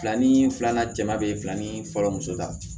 Fila ni filanan jama beye fila ni fɔlɔ muso ta